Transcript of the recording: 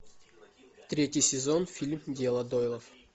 третий сезон фильм дело дойлов